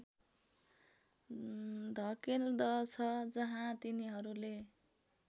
धकेल्दछ जहाँ तिनीहरूले